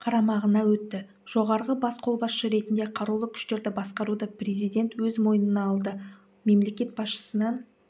қарамағына өтті жоғарғы бас қолбасшы ретінде қарулы күштерді басқаруды президент өз мойнына алды мемлекет басшысынан